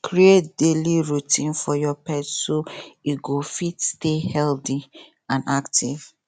create daily routine for your pet so e go fit stay healthy and active